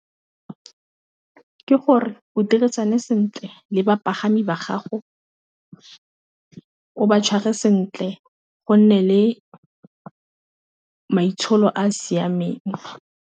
Ke gore o dirisana sentle le bapagami ba gago ka o ba tshware sentle go nne le maitsholo a siameng.